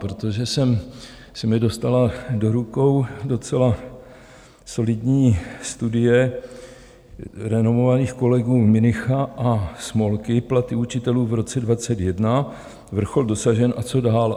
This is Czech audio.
Protože se mi dostala do rukou docela solidní studie renomovaných kolegů Münicha a Smolky: Platy učitelů v roce 2021 - vrchol dosažen, a co dál?